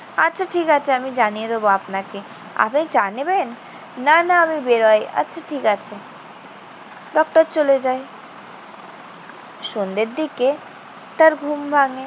আচ্ছা ঠিক আছে আমি জানিয়ে দেব আপনাকে। আপনি চা নেবেন? না, না, আমি বেরুই। আচ্ছা ঠিক আছে। ডক্টর চলে যায়। সন্ধ্যের দিকে তার ঘুম ভাঙ্গে।